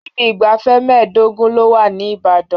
Ibi ìgbafẹ́ mẹ́ẹ̀dọ́gún ló wà ní Ìbàdàn.